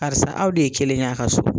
Karisa aw de ye kelen ye a' ka so.